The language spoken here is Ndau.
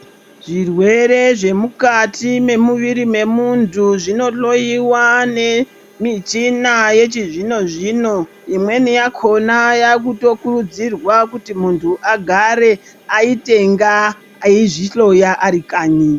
Zvirwere zvemukati memuviri memuntu zvinohloiwa nemuchina wechizvino zvino imweni yakona inotokurudziraa kuti muntu agare aite nga eizvihloya ari kanyi.